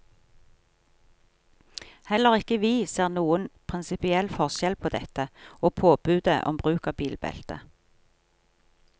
Heller ikke vi ser noen prinsipiell forskjell på dette og påbudet om bruk av bilbelte.